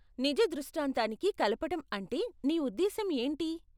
నిజ దృష్టాంతానికి కలపటం అంటే నీ ఉద్దేశ్యం ఏంటి?